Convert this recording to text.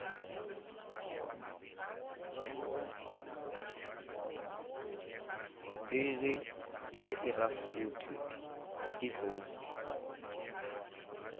bili ya irafuthi i khou